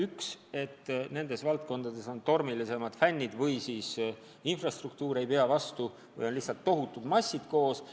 Esiteks on oht, et nendel spordialadel on fännid tormilisemad ja ka rajatised ei pruugi vastu pidada, kui lihtsalt on tohutud massid koos.